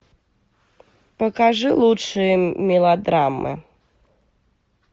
покажи лучшие мелодрамы